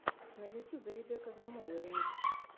на ютьюбе ребекка замоло ремикс